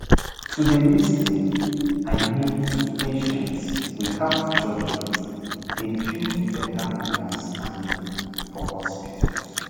to dey lis ten i mean to patients without judgement dey build better understanding for hospitals